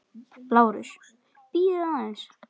LÁRUS: Bíðið aðeins.